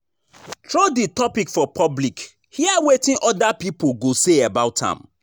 Throw di topic for public hear wetin other pipo go say about am